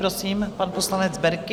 Prosím, pan poslanec Berki.